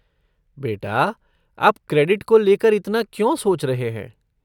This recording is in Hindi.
बेटा, आप क्रेडिंट को लेकर इतना क्यों सोच रहे हैं?